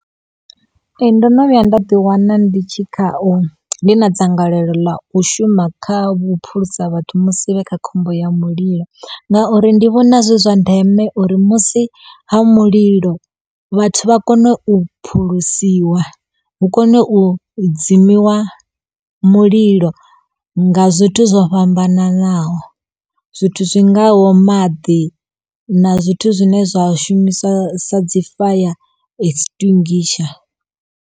Ee. Ndo no vhuya nda ḓi wana ndi tshi khao ndi na dzangalelo ḽa u shuma kha vhuphulusa vhathu musi vhe kha khombo ya mulilo ngauri ndi vhona zwi zwa ndeme uri musi ha mulilo vhathu vha kone u phulusiwa hu kone u u dzimiwa mulilo nga zwithu zwo fhambananaho zwithu zwingaho maḓi na zwithu zwine zwa shumiswa sa dzi fire extinguisher.